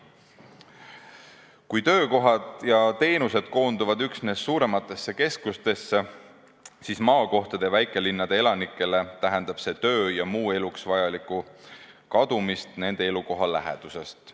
Kui töökohad ja teenused koonduvad üksnes suurematesse keskustesse, siis maakohtade ja väikelinnade elanikele tähendab see töö ja muu eluks vajaliku kadumist nende elukoha lähedusest.